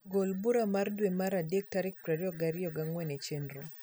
gol bura mar dwe mar adek tarik pier ariyo gi agwen e chenro